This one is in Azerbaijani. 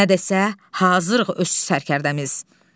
Nə desə, hazırıq öz sərkərdəmiz.